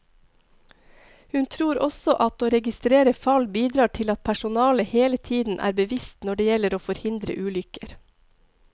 Hun tror også at å registrere fall bidrar til at personalet hele tiden er bevisst når det gjelder å forhindre ulykker.